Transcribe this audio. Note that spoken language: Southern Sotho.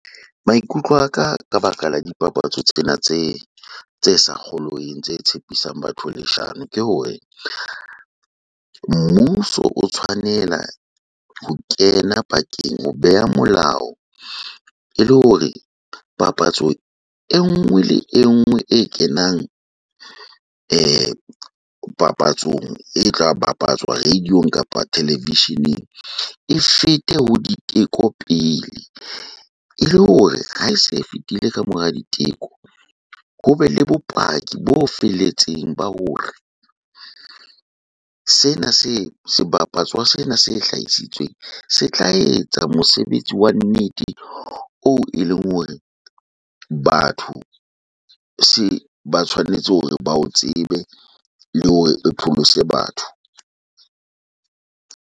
Maikutlo a ka ka baka la dipapatso tsena tse sa kgolweng, tse tshepisang batho leshano. Ke hore mmuso o tshwanela ho kena pakeng, ho beha molao ele hore papatso e nngwe le e nngwe e kenang papatsong e tla bapatswa radio-ong kapa televisheneng e fete ho diteko pele. Ele hore ha e se e fetile ka mora diteko, hobe le bopaki bo felletseng ba hore sena se, sebapatswa sena se hlahisitsweng, se tla etsa mosebetsi wa nnete oo eleng hore batho se ba tshwanetse hore ba o tsebe le hore pholose batho.